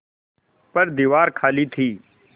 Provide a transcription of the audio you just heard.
पर दीवार खाली थी